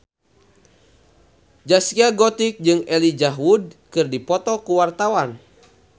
Zaskia Gotik jeung Elijah Wood keur dipoto ku wartawan